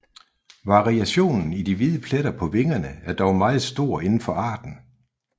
Variationen i de hvide pletter på vingerne er dog meget stor indenfor arten